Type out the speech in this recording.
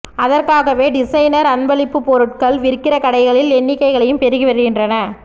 அதற்காகவே டிசைனர் அன்பளிப்புப் பொருள்கள் விற்கிற கடைகளின் எண்ணிக்கையும் பெருகி வருகின்றன